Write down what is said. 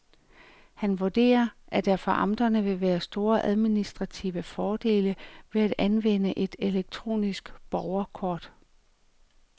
Han vurderer, at der for amterne vil være store administrative fordele ved at anvende et elektronisk borgerkort.